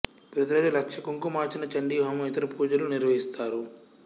ప్రతి రోజు లక్ష కుంకుమార్చన చండీ హోమం ఇతర పూజలు నిర్వహిస్తారు